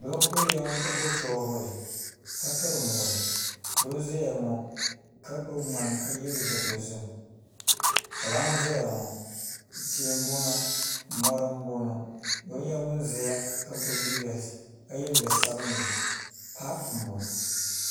Doo n kuriya ŋo ka gbubi shoovul ka piri muɣuri doo n ʒɛya ŋo ka gbubi ŋmani ka yɛ liiga dozim kpalaŋ n ʒɛya ŋo tia n boŋo mori n boŋo doo nyɛla ŋun ʒɛya ka yɛ liiga sabinli paapu n boŋo